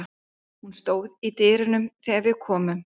Hún stóð í dyrunum þegar við komum.